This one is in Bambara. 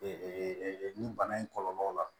nin bana in kɔlɔlɔw la